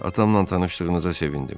Atamla tanışdığınıza sevindim.